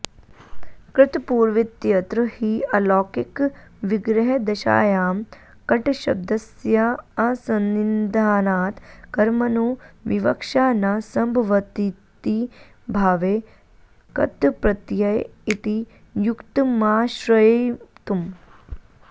कृतपूर्वीत्यत्र हि अलौकिकविग्रहदशायां कटशब्दस्याऽसंनिधानात् कर्मणो विवक्षा न संभवतीति भावे क्तप्रत्यय इति युक्तमाश्रयितुम्